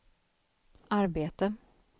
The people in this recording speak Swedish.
arbete